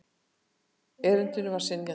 Erindinu var synjað.